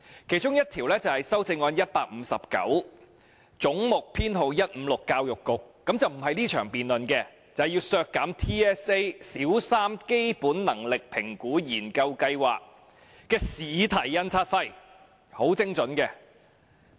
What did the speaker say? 其中一項是修正案編號 159，" 總目 156― 政府總部：教育局"，不屬於這場辯論，是要削減 TSA 小三基本能力評估研究計劃的試題印刷費，是很精準的。